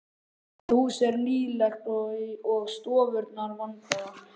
Það hús er nýlegt og stofurnar vandaðar.